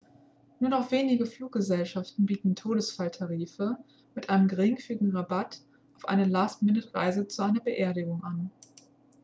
nur noch wenige fluggesellschaften bieten todesfalltarife mit einem geringfügigen rabatt auf eine last-minute-reise zu einer beerdigung an